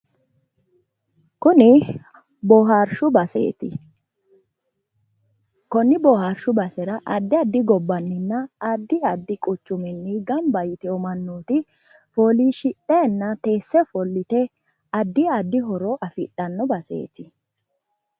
Kuni boohaarshu baseeti konne bohaarshu basera konni bohaarshu basrea addi adi gobbanninna addi addi quchuminni gamba yitino mannooti fooliishshidhayiinna teesse ofollite addi addi horo afidhawo baseeti.